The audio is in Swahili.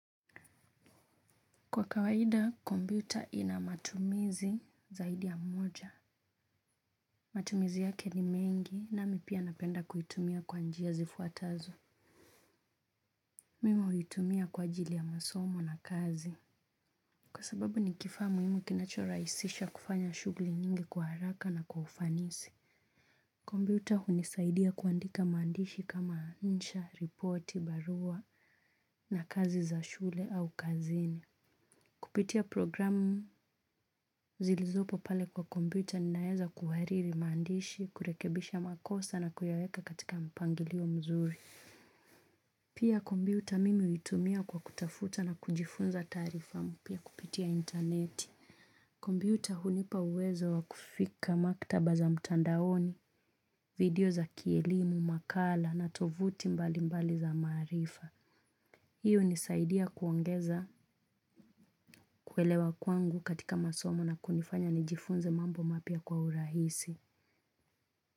Kwa kawaida, kompyuta inamatumizi zaidi ya moja. Matumizi yake ni mengi nami pia napenda kuitumia kwa njia zifuatazo. Mim huitumia kwa ajili ya masomo na kazi. Kwa sababu ni kifaa muhimu kinacho rahisisha kufanya shughuli nyingi kwa haraka na kwa ufanisi. Kompyuta hunisaidia kuandika maandishi kama insha, ripoti, barua na kazi za shule au kazini. Kupitia programu zilizopo pale kwa kompyuta ninaweza kuhariri maandishi, kurekebisha makosa na kuyaweka katika mpangilio mzuri. Pia kompyuta mimi huitumia kwa kutafuta na kujifunza taarifa mpya kupitia intaneti. Kompyuta hunipa uwezo wa kufika maktaba za mtandaoni, video za kielimu, makala na tovuti mbali mbali za maarifa. Hiyo hunisaidia kuongeza, kuelewa kwangu katika masomo na kunifanya nijifunze mambo mapya kwa urahisi.